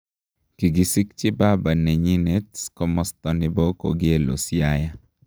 Kigiskji baba nenyinet komasta nepo Kogelo Siaya.